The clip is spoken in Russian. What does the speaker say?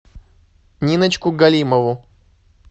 ниночку галимову